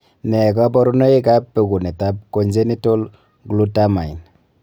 Nee kabarunoikab bekunetab congenital Glutamine?